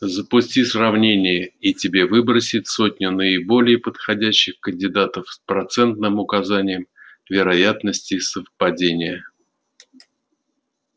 запусти сравнение и тебе выбросит сотню наиболее подходящих кандидатов с процентным указанием вероятности совпадения